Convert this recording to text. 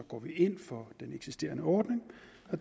ind for den eksisterende ordning